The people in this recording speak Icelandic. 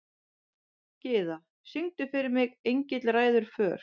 Gyða, syngdu fyrir mig „Engill ræður för“.